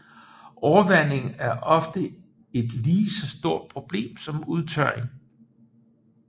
Overvanding er ofte et lige så stort problem som udtørring